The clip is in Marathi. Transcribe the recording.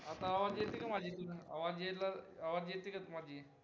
आता आवाज येते का माझी आवाज यायला, आवाज येते का माझी